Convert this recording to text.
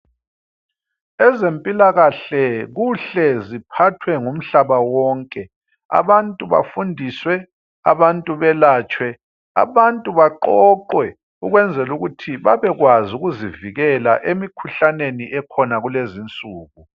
Ezempilakahle kuhle ziphathwe ngumhlaba wonke. Abantu bafundiswe, abantu belatshwe, abantu baqoqwe ukwenzela ukuthi babekwazi ukuzivikela emikhuhlaneni ekhona kulezinsuku.